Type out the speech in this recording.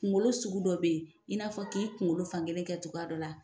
Kunkolo sugu dɔ bɛ yen, i n'a fɔ k'i kunkolo fankelen kɛ cogoya dɔ la.